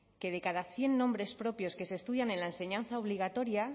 que de cada cien nombres propios que se estudian en la enseñanza obligatoria